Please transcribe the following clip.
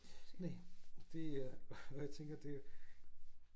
Næh det øh og jo tænker det